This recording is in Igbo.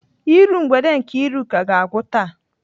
Iru mgbede Nkeiruka ga-agwụ taa.